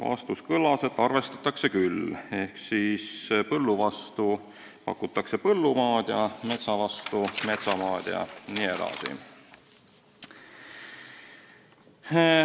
Vastus kõlas, et arvestatakse küll: põllu vastu pakutakse põllumaad, metsa vastu metsamaad jne.